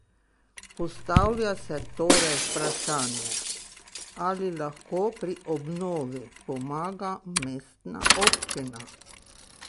Postavlja se torej vprašanje, ali lahko pri obnovi pomaga mestna občina?